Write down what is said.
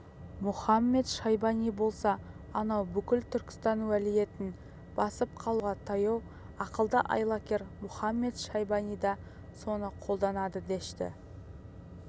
мұхамед-шайбани болса анау бүкіл түркістан уәлиетін басып қалуға таяу ақылды айлакер мұхамед-шайбани да соны қолданады дәшті